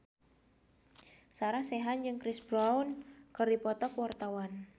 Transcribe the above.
Sarah Sechan jeung Chris Brown keur dipoto ku wartawan